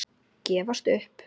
Gefast upp?